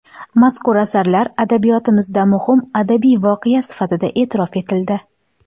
Mazkur asarlar adabiyotimizda muhim adabiy voqea sifatida e’tirof etildi.